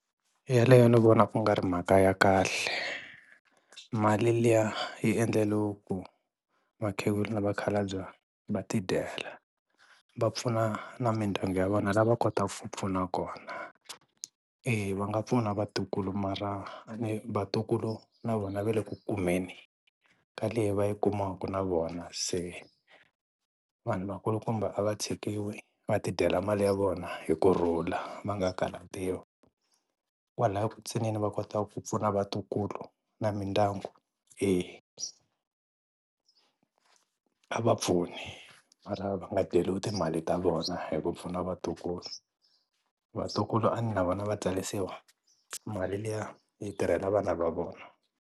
Yaleyo ni vona ku ngari mhaka ya kahle mali liya yi endleriwe ku vakhegula na vakhalabye va ti dyela, va pfuna na mindyangu ya vona la va kotaka ku pfuna kona. Eya va nga pfuna vatukulu mara a ne vatukulu na vona va le ku kumeni ka leyi va yi kumaka na vona se vanhu vakulukumba a va tshikiwi va ti dyela mali ya vona hi kurhula va nga karhatiwi, kwalaya ku ntsinini va kota ku pfuna vatukulu na mindyangu eya, a va pfuni mara va nga dyeriwi timali ta vona hi ku pfuna vatukulu, vatukulu a ne na vona va tsarisiwa mali liya yi tirhela vana va vona.